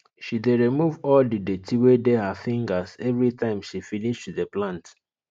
she dey remove all the dirty wey dey her fingers everytime she finish to dey plant